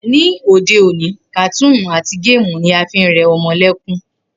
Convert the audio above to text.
Ni òde òní, kàtúùnù àti géèmù ni a fi ń re̩ o̩mo̩ lé̩kún